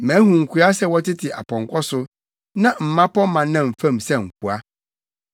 Mahu nkoa sɛ wɔtete apɔnkɔ so, na mmapɔmma nam fam sɛ nkoa.